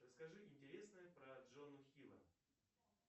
расскажи интересное про джона хилла